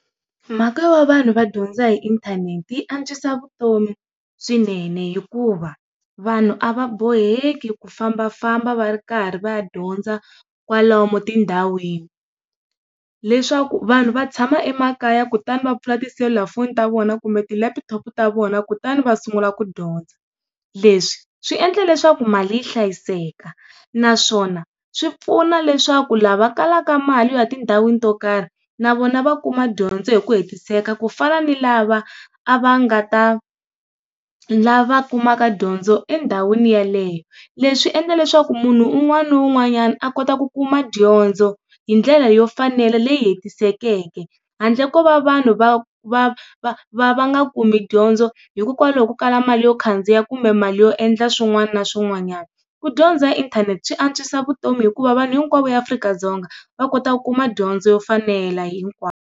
Mhaka yo vanhu va dyondza hi inthanete yi antswisa vutomi swinene hikuva vanhu a va boheki ku fambafamba va ri karhi va ya dyondza kwalomu tindhawini leswaku vanhu va tshama emakaya kutani va pfula tiselulafoni ta vona kumbe tileputhopo ta vona kutani va sungula ku dyondza, leswi swi endla leswaku mali yi hlayiseka naswona swi pfuna leswaku lava kalaka mali yo ya tindhawini to karhi na vona va kuma dyondzo hi ku hetiseka ku fana ni lava a va nga ta, lava kumaka dyondzo endhawini yeleyo. Leswi endla leswaku munhu un'wana na un'wanyana a kota ku kuma dyondzo hi ndlela yo fanela leyi hetisekeke handle ko va vanhu va va va va va nga kumi dyondzo hikokwalaho ko kala mali yo khandziya kumbe mali yo endla swin'wana na swin'wanyana. Ku dyondza hi inthanete swi antswisa vutomi hikuva vanhu hinkwavo eAfrika-Dzonga va kota ku kuma dyondzo yo fanela hinkwavo.